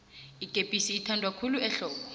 ikepisi ithanwa khulu ehlobo